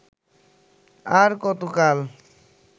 আর কতকাল